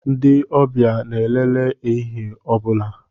Ndị ọbịa na-elele ehihie ọ bụla.